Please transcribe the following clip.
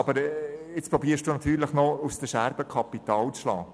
Nun versuchen Sie natürlich noch, aus den Scherben Kapital zu schlagen.